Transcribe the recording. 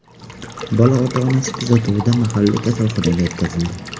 Bola ota-onasi kuzatuvida mahalliy kasalxonaga yetkazildi.